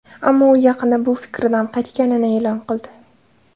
Ammo u yaqinda bu fikridan qaytganini e’lon qildi.